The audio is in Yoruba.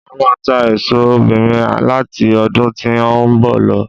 Màá máa ta aṣọ obìnrin láti ọdún tí ó ń bọ̀ lọ